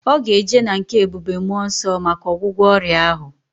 Oga eje na nke ebube mmuo nso maka ogwugwo oria ahu